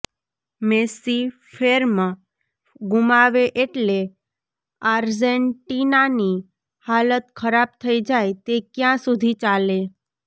Messi form ગુમાવે એટલે આર્જેન્ટિનાની હાલત ખરાબ થઈ જાય તે કયાં સુધી ચાલે